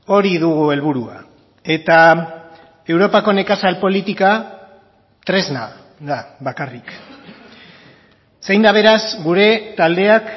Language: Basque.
hori dugu helburua eta europako nekazal politika tresna da bakarrik zein da beraz gure taldeak